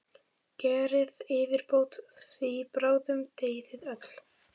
Gerið yfirbót, því bráðum deyið þið öll!